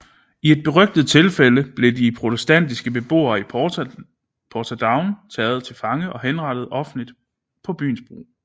I et berygtet tilfælde blev de protestantiske beboere i Portadown taget til fange og henrettet offentligt på byens bro